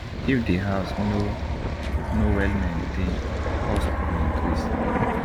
if di house no no well maintained cost go increase